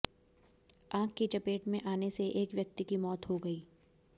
आग की चपेट में आने से एक व्यक्ति की मौत हो गई